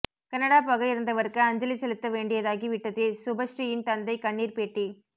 Canada போக இருந்தவருக்கு அஞ்சலி செலுத்த வேண்டியதாகி விட்டதே சுபஸ்ரீயின் தந்தை கண்ணீர் பேட்டி